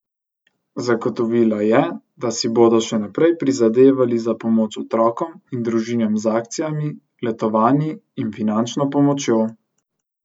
Zagotovila je, da si bodo še naprej prizadevali za pomoč otrokom in družinam z akcijami, letovanji in finančno pomočjo.